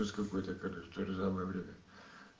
ужас какой то короче то ли самое время